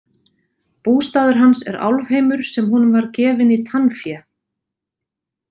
Bústaður hans er Álfheimur sem honum var gefinn í tannfé.